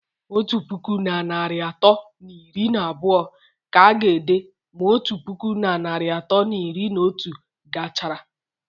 Otu puku na narị atọ na iri na abụọ ka a ga-ede ma otu puku na narị atọ na iri na otu gachara